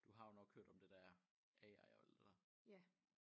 Du har jo nok hørt om det der AI og alt det der